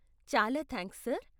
చాలా thanks, sir.